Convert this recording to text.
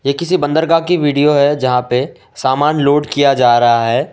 किसी बंदरगाह की वीडियो है जहां पे सामान लोड किया जा रहा है।